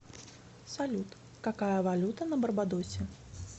салют какая валюта на барбадосе